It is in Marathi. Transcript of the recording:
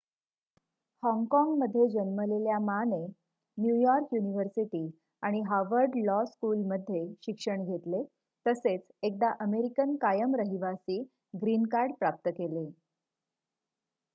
"हाँगकाँगमध्ये जन्मलेल्या मा ने न्यूयॉर्क युनिव्हर्सिटी आणि हार्वर्ड लॉ स्कूलमध्ये शिक्षण घेतले तसेच एकदा अमेरिकन कायम रहिवासी "ग्रीन कार्ड" प्राप्त केले.